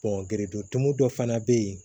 gerendumu dɔ fana bɛ yen